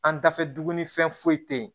An dafɛ dugu ni fɛn foyi te yen